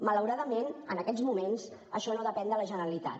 malauradament en aquests moments això no depèn de la generalitat